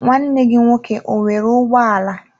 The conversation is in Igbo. nwanne gi nwoke ọ nwere ụgbọ ala?